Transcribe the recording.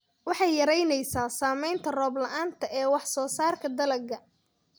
Waxay yaraynaysaa saamaynta roob la'aanta ee wax soo saarka dalagga.